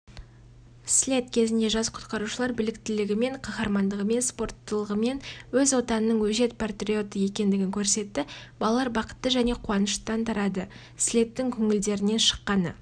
слет кезінде жас құтқарушылар біліктілігімен қаһармандығымен спорттылығымен өз отанының өжет патриоты екендігін көрсетті балалар бақытты және қуанышты тарады слеттің көңілдерінен шыққаны